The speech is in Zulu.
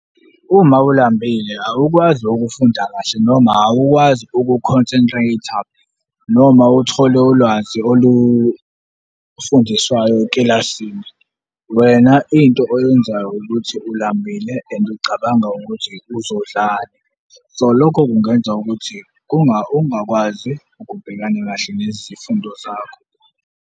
Uma ulambile, awukwazi ukufunda kahle noma awukwazi uku-concentrator noma uthole ulwazi olufundiswayo ekilasini. Wena into oyenzayo ukuthi ulambile and ucabanga ukuthi uzodlani, so lokho kungenza ukuthi ungakwazi ukubhekana kahle nezifundo zakho.